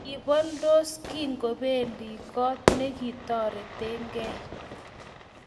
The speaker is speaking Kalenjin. Kiboldos kingobendi kot nekitoretekei